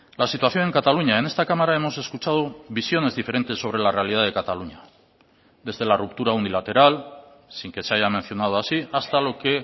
la situación en cataluña en esta cámara hemos escuchado visiones diferentes sobre la realidad de cataluña desde la ruptura unilateral sin que se haya mencionado así hasta lo que